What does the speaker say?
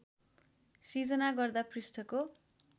सृजना गर्दा पृष्ठको